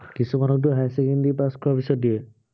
কিছুমানকটো higher secondary pass কৰাৰ পিছত দিয়ে।